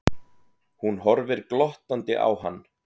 Hún horfir glottandi á hann.